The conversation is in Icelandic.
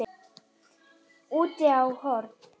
Úti á horni.